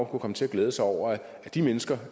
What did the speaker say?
kunne komme til at glæde sig over at de mennesker